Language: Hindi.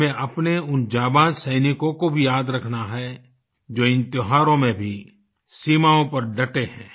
हमें अपने उन जाबाज़ सैनिकों को भी याद रखना है जो इन त्योहारों में भी सीमाओं पर डटे हैं